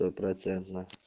стопроцентно